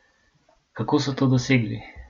Kako so to dosegli?